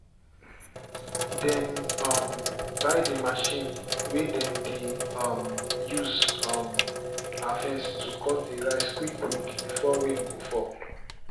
dem um buy the machine way dem dey um use um harvest to cut the rice quick quick before rain go fall.